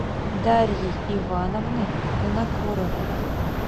дарьей ивановной винокуровой